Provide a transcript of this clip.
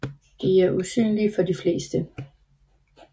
De er usynlige for de fleste